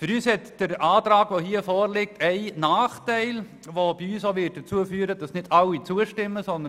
Der vorliegende Antrag hat einen Nachteil, der bei uns auch dazu führen wird, dass nicht alle ihm zustimmen werden.